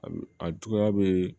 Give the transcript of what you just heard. A juguya be